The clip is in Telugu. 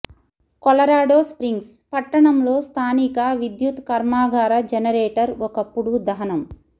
కొలరాడో స్ప్రింగ్స్ పట్టణంలో స్థానిక విద్యుత్ కర్మాగార జెనరేటర్ ఒకప్పుడు దహనం